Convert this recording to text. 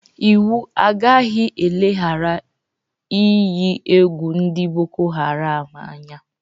Iwu agaghị eleghara inyi egwu ndị Boko haram anya.